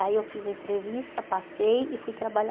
Aí eu fiz uma entrevista, passei e fui trabalhar.